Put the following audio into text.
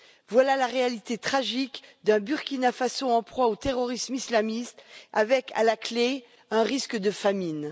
Voilà la réalité tragique d'un Burkina Faso en proie au terrorisme islamiste, avec à la clé un risque de famine.